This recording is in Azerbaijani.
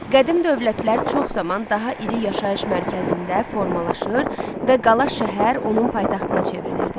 Qədim dövlətlər çox zaman daha iri yaşayış mərkəzində formalaşır və qala şəhər onun paytaxtına çevrilirdi.